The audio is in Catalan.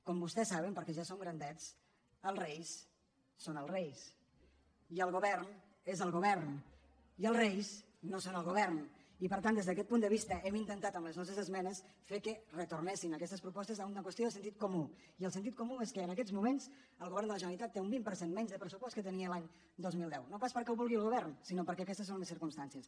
com vostès saben perquè ja som gran·dets els reis són els reis i el govern és el govern i els reis no són el govern i per tant des d’aquest punt de vista hem intentat amb les nostres esmenes fer que retornessin aquestes propostes a una qüestió de sen·tit comú i el sentit comú és que en aquests moments el govern de la generalitat té un vint per cent menys de pressupost del que tenia l’any dos mil deu no pas perquè ho vulgui el govern sinó perquè aquestes són les cir·cumstàncies